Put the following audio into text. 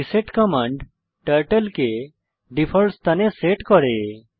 reset command turtle কে default স্থানে set করে